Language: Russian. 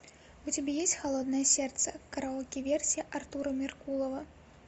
у тебя есть холодное сердце караоке версия артура меркулова